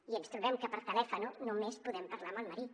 i ens trobem que per telèfon només podem parlar amb el marit